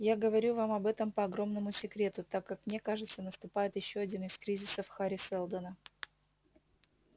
я говорю вам об этом по огромному секрету так как мне кажется наступает ещё один из кризисов хари сэлдона